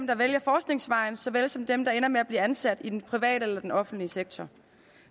der vælger forskningsvejen så vel som for dem der ender med at blive ansat i den private eller den offentlige sektor